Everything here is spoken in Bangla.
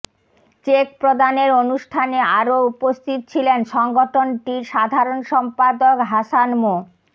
চেক প্রদানের অনুষ্ঠানে আরও উপস্থিত ছিলেনসংগঠনটির সাধারণ সম্পাদক হাসান মো